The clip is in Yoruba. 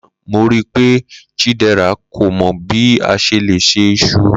Lana mo rii pe Chidera ko mọ bi a ṣe le ṣe iṣu.